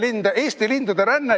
Seega, "Eesti lindude ränne".